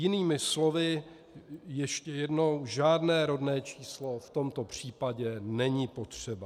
Jinými slovy, ještě jednou - žádné rodné číslo v tomto případě není potřeba.